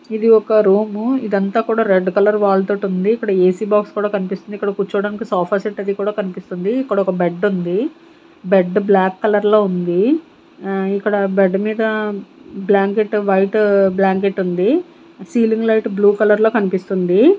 ఇది ఒక రూమ్ ఇదంతా కూడా రెడ్ కలర్ వాల్ తోటి ఉంది ఇక్కడ ఏ_సి బాక్స్ కూడా కనిపిస్తుంది ఇక్కడ కూర్చోవడానికి సోఫా సెట్ అది కూడా కనిపిస్తుంది ఇక్కడ ఒక బెడ్ ఉంది బెడ్ బ్లాక్ కలర్ లో ఉంది ఆ ఇక్కడ బెడ్ మీద బ్లాంకెట్ వైట్ బ్లాంకెట్ ఉంది సీలింగ్ లైట్ బ్లూ కలర్ లో కనిపిస్తుంది.